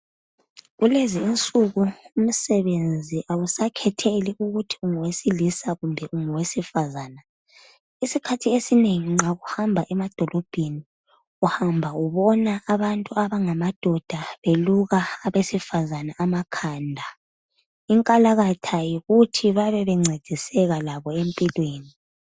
Kulezi insuku ukusakhetheli ukuthi ungowesilisa kumbe ungowesifazana iskhathi esinengi nxa uhamba emadolobheni uhamba ubona abantu abangadoda beluka abesifazana amakhanda inkalakatha yikuthi bebe bengcediseka labo empilweni